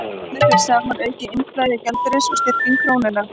Þannig fer saman aukið innflæði gjaldeyris og styrking krónunnar.